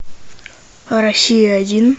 россия один